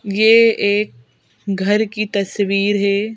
ये एक घर की तस्वीर है।